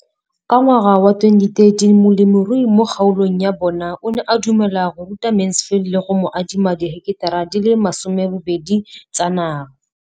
Ka ngwaga wa 2013, molemirui mo kgaolong ya bona o ne a dumela go ruta Mansfield le go mo adima di heketara di le 12 tsa naga.